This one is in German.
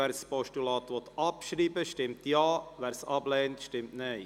Wer dieses Postulat abschreiben will, stimmt Ja, wer dies ablehnt, stimmt Nein.